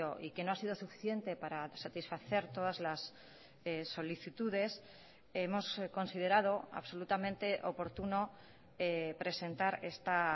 y que no ha sido suficiente para satisfacer todas las solicitudes hemos considerado absolutamente oportuno presentar esta